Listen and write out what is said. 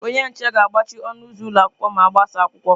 Onye nche ga-agbachi ọnụ ụzọ ụlọ akwụkwọ ma agbasa akwụkwọ.